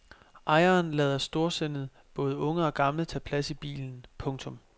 Ejeren lader storsindet både unge og gamle tage plads i bilen. punktum